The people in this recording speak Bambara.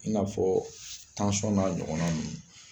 I n'afɔ n'a ɲɔgɔn na nunnu.